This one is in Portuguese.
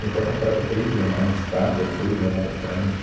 Meu pai comprava três jornais, Estado, a Folha e o Jornal da Tarde.